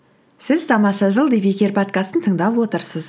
сіз тамаша жыл подкастын тыңдап отырсыз